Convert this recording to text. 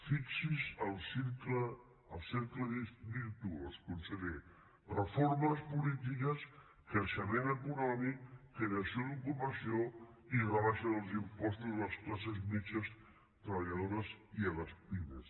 fixi’s el cercle virtuós conseller reformes polítiques creixement econòmic creació d’ocupació i rebaixa dels impostos a les classes mitjanes treballadores i a les pimes